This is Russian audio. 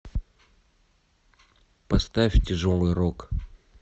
поставь тяжелый рок